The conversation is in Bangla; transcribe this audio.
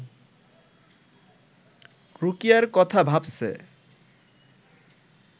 রুকিয়ার কথা ভাবছে